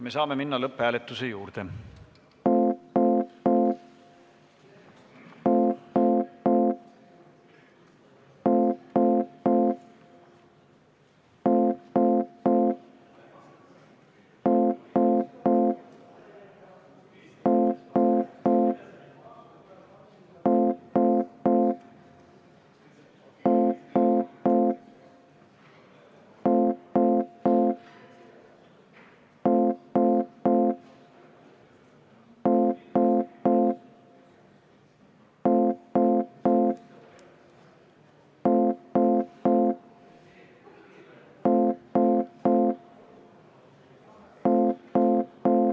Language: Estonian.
Me saame minna lõpphääletuse juurde.